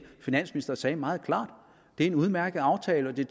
finansministeren sagde meget klart det er en udmærket aftale og det